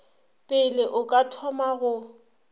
pele o ka thoma go